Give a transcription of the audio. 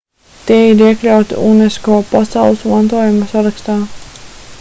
tie ir iekļauti unesco pasaules mantojuma sarakstā